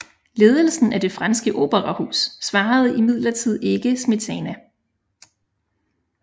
Ledelsen af det franske operahus svarede imidlertid ikke Smetana